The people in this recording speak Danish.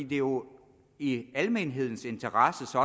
det er jo i almenhedens interesse